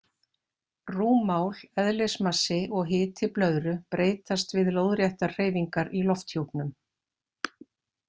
Rúmmál, eðlismassi og hiti blöðru breytast við lóðréttar hreyfingar í lofthjúpnum.